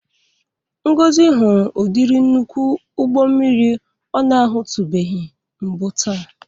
Ngozi hụrụ ụdịrị nnukwu ụgbo mmiri ọ na-ahụtụbeghi mbụ taa.